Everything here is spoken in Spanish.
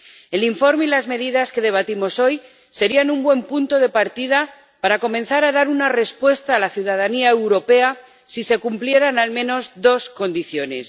El informe y las medidas que debatimos hoy serían un buen punto de partida para comenzar a dar una respuesta a la ciudadanía europea si se cumplieran al menos dos condiciones.